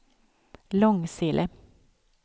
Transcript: Långsele